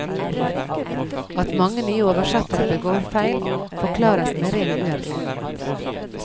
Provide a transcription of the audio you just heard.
At mange nye oversettere begår feil, forklares med ren uerfarenhet.